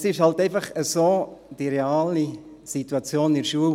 Es ist halt einfach so mit der realen Situation in der Schule: